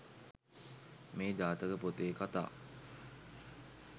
මේ ජාතක පොතේ කථා